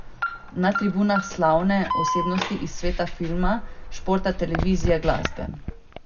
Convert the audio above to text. Na tribunah slavne osebnosti iz sveta filma, športa, televizije, glasbe...